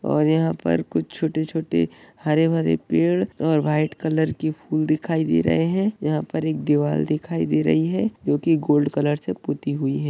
और यहा पर कुछ छोटे-छोटे हरे-भरे पैड और व्हाइट कलर की फूल दिखाई दे रही है यहा पर दीवार दिखाई दे रही है जो की गोल्ड कलर से पुती हुई है।